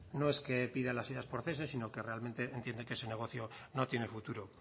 no es que pidan las ayudas por cese sino que realmente entiende que su negocio no tiene futuro